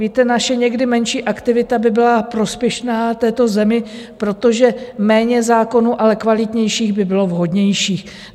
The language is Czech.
Víte, naše někdy menší aktivita by byla prospěšná této zemi, protože méně zákonů, ale kvalitnějších by bylo vhodnější.